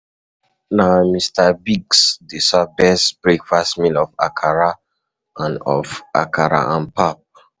Na Mr. Biggs dey serve best breakfast meal of akara and of akara and pap.